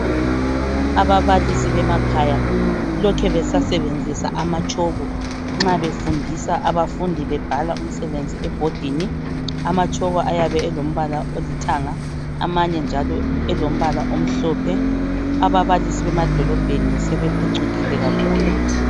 Ababalisi bemakhaya lokhe besasebenzisa amatshoko nxa befundisa abafundi bebhala umsebenzi ebhodini, amatshoko ayabe elombala olithanga amanye njalo elombala omhlophe ababalisi bemadolobheni sebephucukile kakhulu.